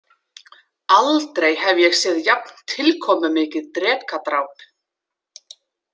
Aldrei hef ég séð jafn tilkomumikið drekadráp.